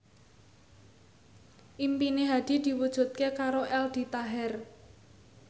impine Hadi diwujudke karo Aldi Taher